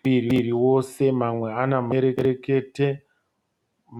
muviri wose mamwe ane mabendekete